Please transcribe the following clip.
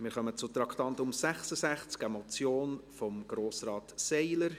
Wir kommen zum Traktandum 66, einer Motion von Grossrat Seiler: